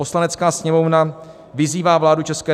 Poslanecká sněmovna vyzývá vládu ČR